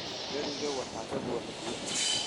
Dheriga waxaa ka buuxa biyo